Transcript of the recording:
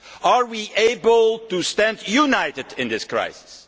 Are we able to stand united in this crisis?